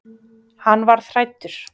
Hann varð hræddur.